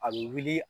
A bɛ wuli